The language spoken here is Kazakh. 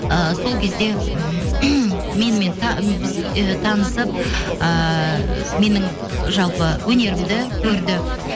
ыыы сол кезде менімен і танысып ыыы менің жалпы өнерімді көрді